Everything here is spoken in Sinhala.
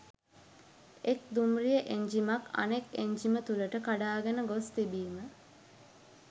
එක් දුම්රිය එන්ජිමක් අනෙක් එන්ජිම තුළට කඩාගෙන ගොස් තිබීම